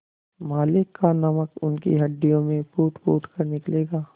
मालिक का नमक उनकी हड्डियों से फूटफूट कर निकलेगा